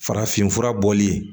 Farafinfura bɔli